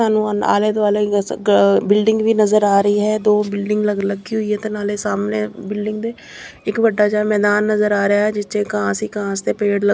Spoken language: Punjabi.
ਸਾਨੂੰ ਆਲੇ ਦੁਆਲੇ ਬਿਲਡਿੰਗ ਵੀ ਨਜ਼ਰ ਆ ਰਹੀ ਹੈ ਦੋ ਬਿਲਡਿੰਗ ਅਲੱਗ ਅਲੱਗ ਰੱਖੀ ਹੋਈ ਆ ਤੇ ਨਾਲੇ ਸਾਹਮਣੇ ਬਿਲਡਿੰਗ ਦੇ ਇੱਕ ਵੱਡਾ ਜਿਹਾ ਮੈਦਾਨ ਨਜ਼ਰ ਆ ਰਿਹਾ ਆ ਜਿਹਦੇ ਵਿੱਚ ਘਾਸ ਹੀ ਘਾਸ ਤੇ ਪੇੜ ਲੱਗੇ --